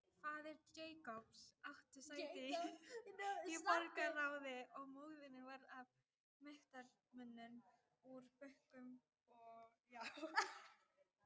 Faðir Jacobs átti sæti í borgarráði og móðirin var af mektarmönnum úr bönkum og borgarráði.